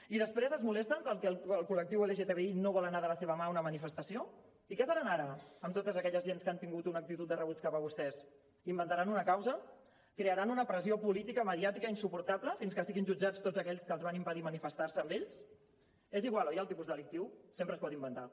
i després es molesten perquè el col·lectiu lgtbi no vol anar de la seva mà a una manifestació i què faran ara amb tota aquella gent que han tingut una actitud de rebuig cap a vostès inventaran una causa crearan una pressió política mediàtica insuportable fins que siguin jutjats tots aquells que els van impedir manifestar se amb ells és igual oi el tipus delictiu sempre es pot inventar